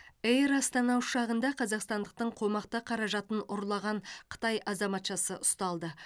эйр астана ұшағында қазақстандықтың қомақты қаражатын ұрлаған қытай азаматшасы ұсталды